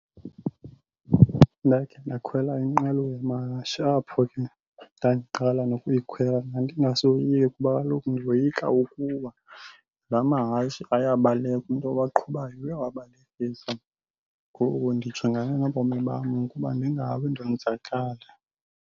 Ndakhe ndakhwela inqwelo yamahashe apho ke ndandiqala nokuyikhwela. Ndandingasoyiki kuba kaloku ndiyoyika ukuwa. La mahashe ayabaleka, umntu owaqhubayo uyawabalekisa ngoku ndijongane nobomi bam ukuba ndingawi ndonzakale.